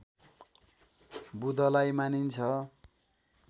बुधलाई मानिन्छ